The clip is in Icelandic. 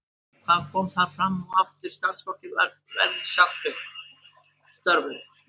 Hvað kom þar fram og hefur starfsfólki verið sagt upp störfum?